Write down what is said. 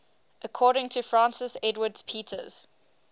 according to francis edwards peters